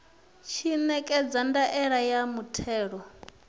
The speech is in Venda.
tshi ṋekedza ndaela ya muthelo